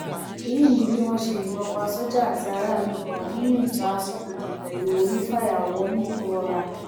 èyí ni bí wọn ṣe yìnbọn pa sójà àti aráàlú kan nínú ìjà asọbodè pẹlú onífàyàwọ nìgbọọra